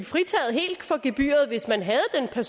fritaget for gebyret hvis man havde den